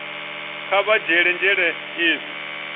kha vha dzhiele nzhele hezwi